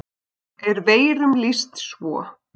er veirum lýst svo